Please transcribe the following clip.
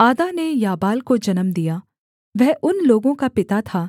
आदा ने याबाल को जन्म दिया वह उन लोगों का पिता था